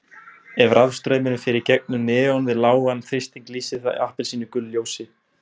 Ef rafstraumur fer í gegnum neon við lágan þrýsting lýsir það appelsínugulu ljósi.